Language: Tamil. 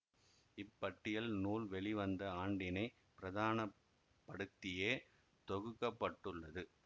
இப்பட்டியல் நூல் வெளிவந்த ஆண்டினை பிரதான படுத்தியே தொகுக்க பட்டுள்ளது